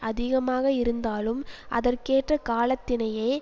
அதிகமாக இருந்தாலும் அதற்கேற்ற காலத்தினையே